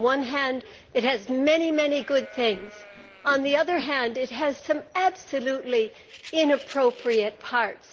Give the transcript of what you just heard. On the one hand, it has many good things, but, on the other hand, it has some absolutely inappropriate parts.